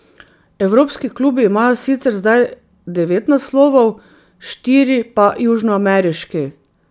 Evropski klubi imajo sicer zdaj devet naslovov, štiri pa južnoameriški.